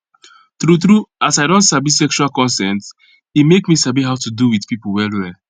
true true as i don sabi sexual consent e make me sabi how to do with people well well